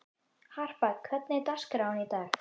Harpa, hvernig er dagskráin í dag?